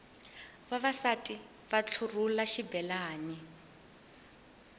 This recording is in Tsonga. vavasati va ntlurhula xibelani